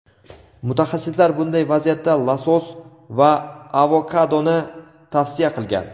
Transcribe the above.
Mutaxassislar bunday vaziyatda losos va avokadoni tavsiya qilgan.